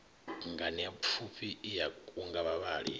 nganeapfufhi i a kunga vhavhali